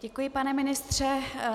Děkuji, pane ministře.